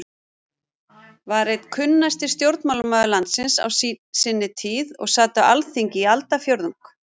var einn kunnasti stjórnmálamaður landsins á sinni tíð og sat á Alþingi í aldarfjórðung.